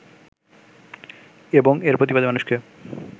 এবং এর প্রতিবাদে মানুষকে